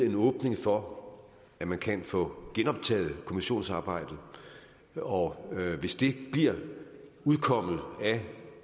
en åbning for at man kan få genoptaget kommissionsarbejdet og hvis det bliver udkommet af